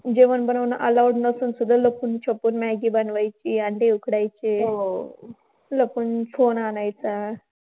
जेवण बनवणं allowed नव्हतं, तर मग लपून-छपून maggi बनवायची. आणि ते उखडायचे. लपून phone आणायचा.